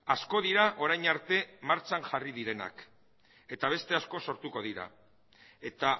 asko dira orain arte martxan jarri direnak eta beste asko sortuko dira eta